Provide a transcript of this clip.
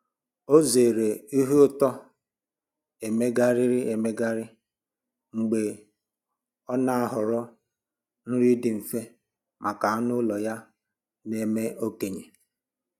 Ọ zeere ihe ụtọ emegharịrị emegharị mgbe ọ na-ahọrọ nri dị mfe maka anụ ụlọ ya na-eme okenye